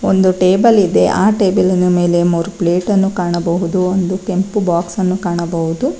ಒಂದು ಟೇಬಲ್ ಇದೆ ಆ ಟೇಬಲಿನ ಮೇಲೆ ಮೂರ್ ಪ್ಲೇಟ ನ್ನು ಕಾಣಬಹುದು ಒಂದು ಕೆಂಪು ಬಾಕ್ಸ ಅನ್ನು ಕಾಣಬಹುದು.